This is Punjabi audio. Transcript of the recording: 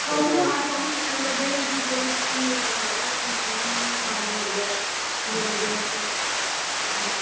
ਸੋਫੇ ਹਾਂ ਸੋਫੇ ਵਧਾਈਆ ਲੱਗੇ ਹੋਏ ਸੀ ਪੂਰੇ sitting way ਚ ਬਣਿਆ ਹੋਇਆ ਸੀ TV ਸਾਮਣੇ ਹੋ ਗਿਆ TV ਲੱਗਿਆ ਹੋਇਆ ਸੀ ਹਾਂਜੀ